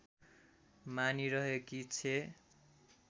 मानिरहेकी छे